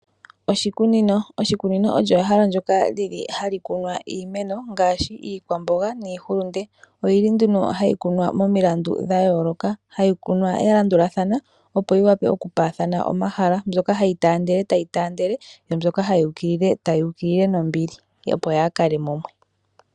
Oshikunino olyo ehala ndyoka lili hali kunwa iimeno, ngaashi iikwamboga, niihulunde. Ohayi kunwa nduno momilandu dhayoolokathana, hayi kunwa ya landulathana, opo yiwape okupaathana omahala, mbyoka hayi taandele tayi taandele, yo mbyoka hayi ukilile tayi ukilile, opo yaakale mumwe.